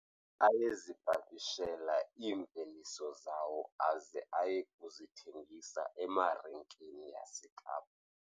Ayezipakishela iimveliso zawo aze aye kuzithengisa emarikeni yaseKapa.